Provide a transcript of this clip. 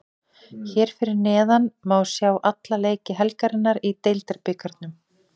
Hér fyrir neðan má sjá alla leiki helgarinnar í Deildabikarnum: